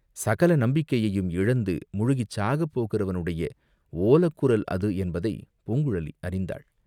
சகல நம்பிக்கையையும் இழந்து முழுகிச் சாகப் போகிறவனுடைய ஓலக்குரல் அது என்பதை பூங்குழலி அறிந்தாள்.